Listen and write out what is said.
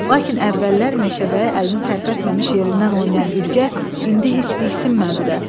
Lakin əvvəllər meşəbəyi əlini tərpətməmiş yerindən oynayan Ürgə indi heç diksinmədi də.